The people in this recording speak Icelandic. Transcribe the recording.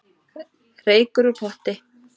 Reykur úr potti